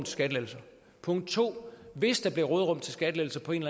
skattelettelser punkt to at hvis der blev et råderum til skattelettelser på en